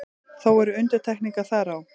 Þó eru undantekningar þar á.